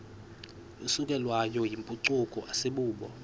isukelwayo yimpucuko asibubo